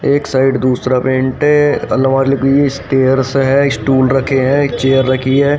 एक साइड दूसरा पेंट है अलवर के लिए स्टेयर्स है स्टूल रखे हैं चेयर रखी है।